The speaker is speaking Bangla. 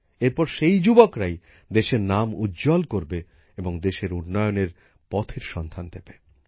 এরপর সেই যুবকরাই দেশের নাম উজ্জ্বল করবে এবং দেশের উন্নয়নের পথের সন্ধান দেবে